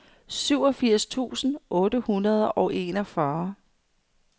syvogfirs tusind otte hundrede og enogfyrre